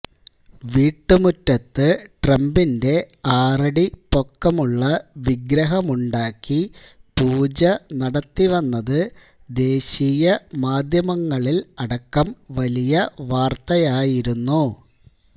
വീട്ടുമുറ്റത്ത് ട്രംപിന്റെ ആറടി പൊക്കമുള്ള വിഗ്രഹമുണ്ടാക്കി പൂജ നടത്തിവന്നത് ദേശീയ മാധ്യമങ്ങളിൽ അടക്കം വലിയ വാർത്തയായിരുന്നു